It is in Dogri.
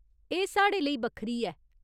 एह् साढ़े लेई बक्खरी ऐ !